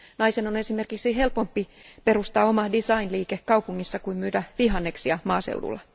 Naisen on esimerkiksi helpompi perustaa oma design liike kaupungissa kuin myydä vihanneksia maaseudulla.